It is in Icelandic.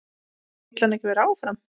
Vill hann ekki vera áfram?